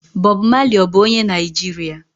Bob Maley ọ bu onye Naijiria?